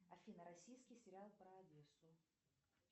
афина российский сериал про одессу